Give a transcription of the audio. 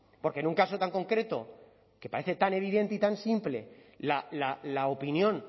porque en un caso tan concreto que parece tan evidente y tan simple la opinión